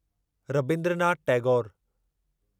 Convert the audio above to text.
Rabindranath Tagore